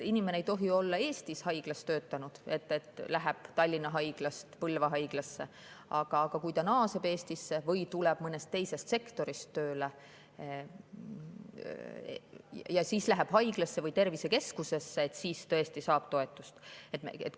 Inimene ei tohi olla Eestis haiglas töötanud, näiteks et läheb Tallinna haiglast Põlva haiglasse, aga kui ta naaseb Eestisse või tuleb mõnest teisest sektorist ja läheb haiglasse või tervisekeskusesse, siis ta tõesti saab toetust.